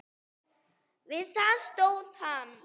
Við það stóð hann.